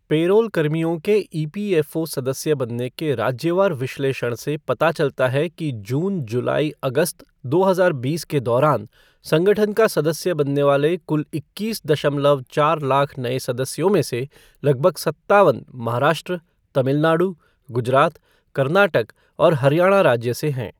Payroll कर्मियों के EPFO सदस्य बनने के राज्यवार विश्लेषण से पता चलता है कि जून जुलाई अगस्त, दो हजार बीस के दौरान संगठन का सदस्य बनने वाले कुल इक्कीस दशमलव चार लाख नए सदस्यों में से लगभग सत्तावन महाराष्ट्र, तमिलनाडु, गुजरात, कर्नाटक और हरियाणा राज्य से हैं।